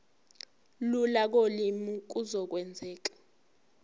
lula kolimi kuzokwenzeka